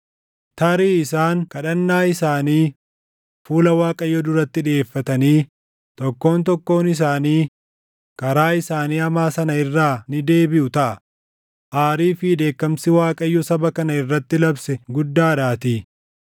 Tarii isaan kadhannaa isaanii fuula Waaqayyoo duratti dhiʼeeffatanii tokkoon tokkoon isaanii karaa isaanii hamaa sana irraa ni deebiʼu taʼa; aarii fi dheekkamsi Waaqayyo saba kana irratti labse guddadhaatii.”